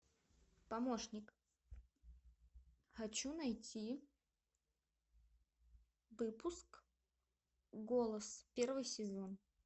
помощник хочу найти выпуск голос первый сезон